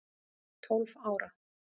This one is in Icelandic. Tólf ára